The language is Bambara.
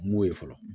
M'o ye fɔlɔ